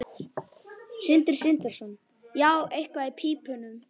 Sindri Sindrason: Já, eitthvað í pípunum?